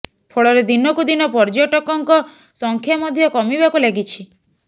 ଫଳରେ ଦିନକୁ ଦିନ ପର୍ଯ୍ୟଟକଙ୍କ ସଂଖ୍ୟା ମଧ୍ୟ କମିବାକୁ ଲାଗିଛି